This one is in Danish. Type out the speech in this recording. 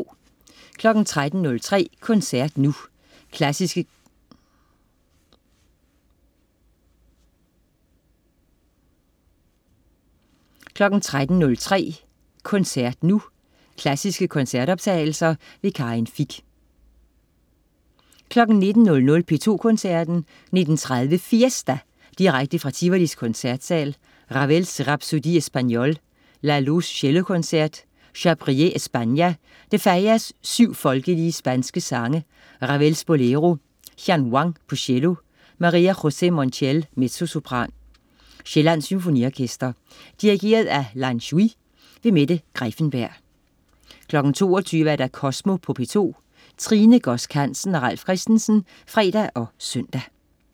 13.03 Koncert nu. Klassiske koncertoptagelser. Karin Fich 19.00 P2 Koncerten. 19.30 Fiesta! Direkte fra Tivolis Koncertsal. Ravel: Rhapsodie Espagnole. Lalo: Cellokoncert. Chabrier: España. De Falla: 7 folkelige spanske sange. Ravel: Bolero. Jian Wang, cello. Maria José Montiel, mezzosopran. Sjællands Symfoniorkester. Dirigent: Lan Shui. Mette Greiffenberg 22.00 Kosmo på P2. Tine Godsk Hansen og Ralf Christensen (fre og søn)